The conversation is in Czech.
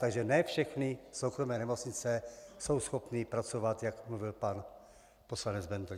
Takže ne všechny soukromé nemocnice jsou schopny pracovat, jak mluvil pan poslanec Bendl.